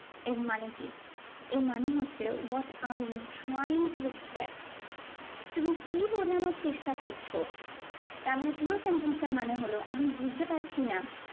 এর মানে কি? এর মানে হচ্ছে what are you trying to express? তুমি কি বোঝানোর চেষ্টা করছো? তারমানে পুরো sentence টার মানে হলো আমি বুঝতে পারছি না